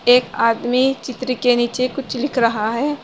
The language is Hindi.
एक आदमी चित्र के नीचे कुछ लिख रहा है।